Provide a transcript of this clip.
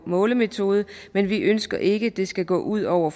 målemetode men vi ønsker ikke at det skal gå ud over